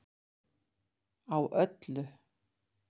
Á öllu